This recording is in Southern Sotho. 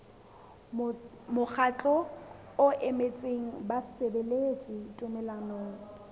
mokgatlo o emetseng basebeletsi tumellanong